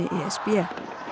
e s b